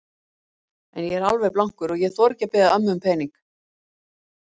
En ég er alveg blankur og ég þori ekki að biðja ömmu um pening.